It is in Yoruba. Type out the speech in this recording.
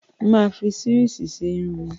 Mà á fi sírìsì ṣe irun mi.